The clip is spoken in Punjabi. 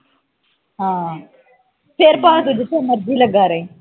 ਹਾਂ ਫਿਰ ਭਾਂਵੇਂ ਤੂੰ ਜਿਥੇ ਮਰਜ਼ੀ ਲਗਾ ਰਹੀ